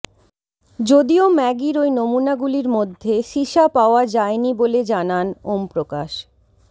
যদিও ম্যাগির ওই নমুনাগুলির মধ্যে সীসা পাওয়া যায়নি বলে জানান ওম প্রকাশ